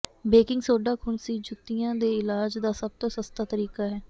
baking soda ਖੁਣਸੀ ਜੁੱਤੀਆਂ ਦੇ ਇਲਾਜ ਦਾ ਸਭ ਤੋਂ ਸਸਤਾ ਤਰੀਕਾ ਹੈ